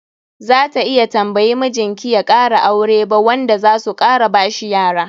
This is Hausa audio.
Za ta iya tambayi mijin ki ya kara aure ba wanda zasu kara bashi yara.